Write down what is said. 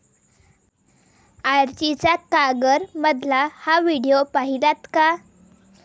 आर्चीचा 'कागर'मधला हा व्हिडिओ पाहिलात का?